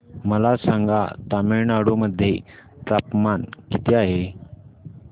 मला सांगा तमिळनाडू मध्ये तापमान किती आहे